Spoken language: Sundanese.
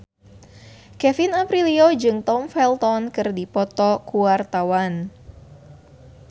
Kevin Aprilio jeung Tom Felton keur dipoto ku wartawan